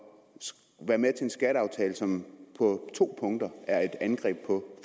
være med til en skatteaftale som på to punkter er et angreb på